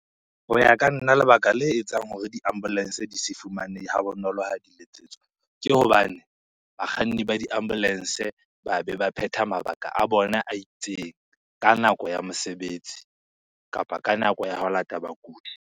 Ho ya ka nna lebaka le etsang hore di-ambulance di se fumanehe ha bonolo ha di letsetswa. Ke hobane bakganni ba di ambulance ba beba phetha mabaka a bona a itseng ka nako ya mosebetsi kapa ka nako ya ho lata bakudi.